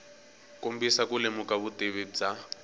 kombisa ku lemuka vutivi bya